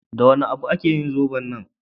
Da wani abu aka yi zoben nan?